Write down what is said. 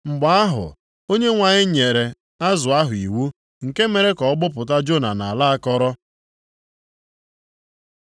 Mgbe ahụ, Onyenwe anyị nyere azụ ahụ iwu, nke mere ka ọ gbọpụta Jona nʼala akọrọ.